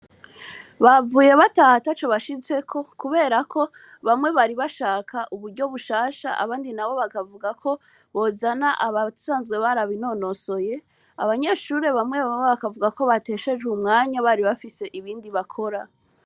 Bahavuye bataha ataco bashitseko kubera ko bamwe bari bashaka uburyo bushasha abandi nabo bakavuga ko bojana abasanzwe barabinonosoye, abanyeshure bamwe bamwe bakavuga ko bateshejwe umwanya bari bafise ibindi bakora.